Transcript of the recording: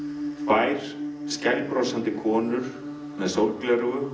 tvær skælbrosandi konur með sólgleraugu